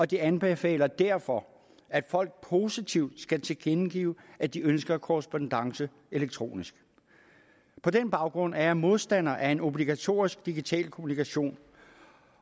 de anbefaler derfor at folk positivt skal tilkendegive at de ønsker korrespondancen elektronisk på den baggrund er jeg modstander af en obligatorisk digital kommunikation